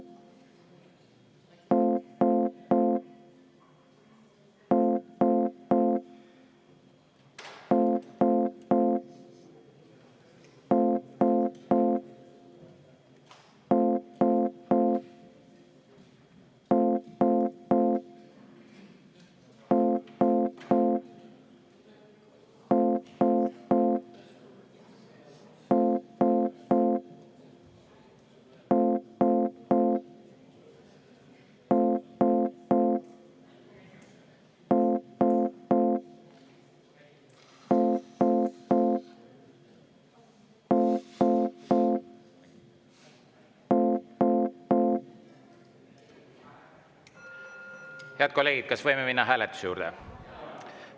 Head kolleegid, kas võime minna hääletuse juurde?